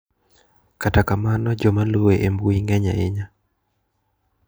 Kata kamano jomaluwe e mbui ng`eny ahinya.